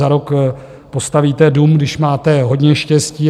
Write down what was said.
Za rok postavíte dům, když máte hodně štěstí.